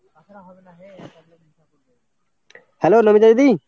hello Namita দিদি?